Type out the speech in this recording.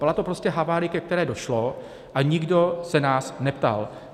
Byla to prostě havárie, ke které došlo, a nikdo se nás neptal.